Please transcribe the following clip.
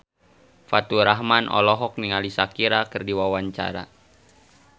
Faturrahman olohok ningali Shakira keur diwawancara